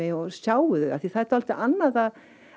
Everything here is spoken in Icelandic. og sjái þau það er dálítið annað að